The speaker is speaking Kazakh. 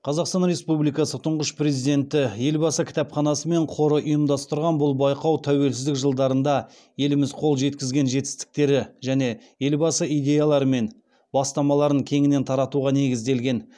қазақстан республикасы тұңғыш президенті елбасы кітапханасы мен қоры ұйымдастырған бұл байқау тәуелсіздік жылдарында еліміз қол жеткізген жетістіктері және елбасы идеялары мен бастамаларын кеңінен таратуға негізделген